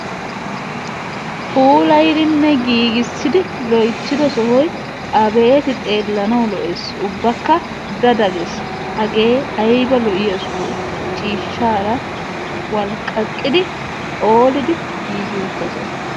puulayddinne giigissidi loyttido sohoy abeeti xeelanaw lo''ees, ubbakka da da gees. hage aybba lo''iya soho, ciishshara walqqaqqidi phoolidi giigi uttassa!